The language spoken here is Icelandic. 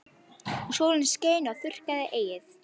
Og sólin skein og þurrkaði heyið.